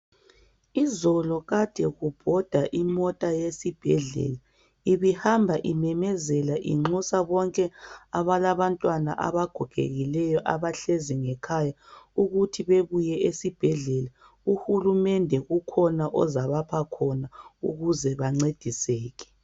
Izolo kade kubhoda imota yesibhedlela. Ibihamba imemezela inxusa bonke abalabantwana abagogekileyo abahlezi ngekhaya ukuthi bebuye esibhedlela. UHulumende kukhona ozabapha khona ukuze bancediseke.